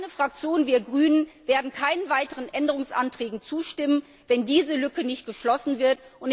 Meine Fraktion, wir Grünen, werden keinen weiteren Änderungsanträgen zustimmen, wenn diese Lücke nicht geschlossen